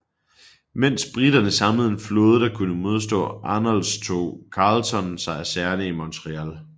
Mens briterne samlede en flåde der kunne modstå Arnolds tog Carleton sig af sagerne i Montreal